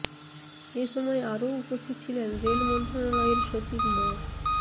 এ সময় আরও উপস্থিত ছিলেন রেল মন্ত্রণালয়ের সচিব মো